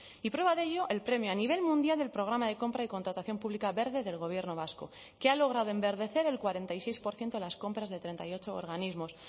y prueba de ello el premio a nivel mundial del programa de compra y contratación pública verde del gobierno vasco que ha logrado enverdecer el cuarenta y seis por ciento de las compras de treinta y ocho organismos